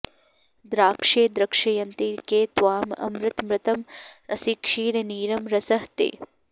द्राक्षे द्रक्ष्यन्ति के त्वाम् अमृत मृतम् असि क्षीर नीरम् रसः ते